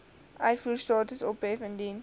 uitvoerstatus ophef indien